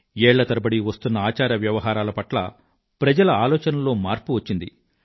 ఏళ్ల తరబడి వస్తున్న ఆచార వ్యవహారాల పట్ల ప్రజల ఆలోచల్లో మార్పు వచ్చింది